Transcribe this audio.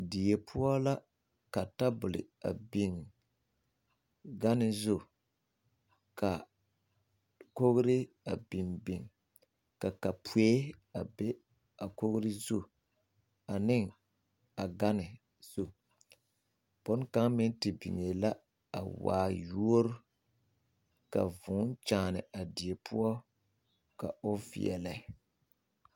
Die poɔ la ka tebol a biŋ gane zu ka kogr ai biŋ biŋ ka kapoe a be a kogre zu ane a gane zu boŋkaŋa meŋ te biŋee la a waa yuori ka vūū kyaani a die poɔ ka o veɛlɛ.